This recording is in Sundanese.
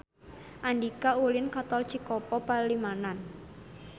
Andika ulin ka Tol Cikopo Palimanan